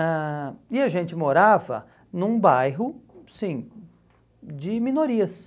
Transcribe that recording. ãh E a gente morava num bairro, sim, de minorias.